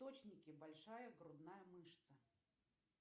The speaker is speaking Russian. источники большая грудная мышца